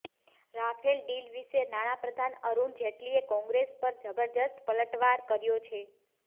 Rafale deal વિશે નાણાપ્રધાન અરુણ જેટલીએ કોંગ્રેસ પર જબરદસ્ત પલટવાર કર્યો છે